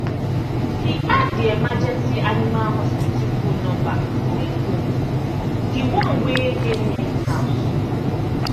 he add the emergency animal hospital phone number for e phone d one wey dey near e house